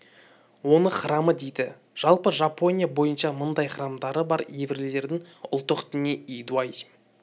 оны храмы дейді жалпы жапония бойынша мыңдай храмдары бар еврейлердің ұлттық діні иудаизм